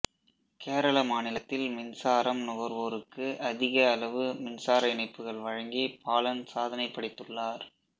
கேரளா மாநிலத்தில் மின்சாரம் நுகர்வோருக்கு அதிக அளவு மின்சார இணைப்புகள் வழங்கி பாலன் சாதனை படைத்துள்ளார்